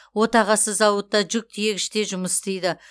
отағасы зауытта жүк тиегіште жұмыс істейді